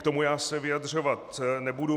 K tomu já se vyjadřovat nebudu.